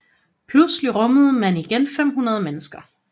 Pludselig rummede man igen 500 mennesker